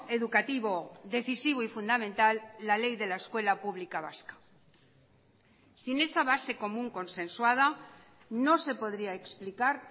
educativo decisivo y fundamental la ley de la escuela pública vasca sin esa base común consensuada no se podría explicar